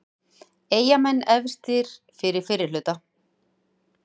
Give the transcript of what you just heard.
Eyjamenn efstir eftir fyrri hluta